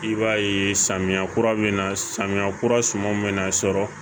I b'a ye samiya kura bɛ na samiya kura suman be na sɔrɔ